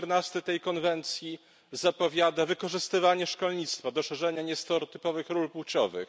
14 tej konwencji zapowiada wykorzystywanie szkolnictwa do szerzenia niestereotypowych ról płciowych.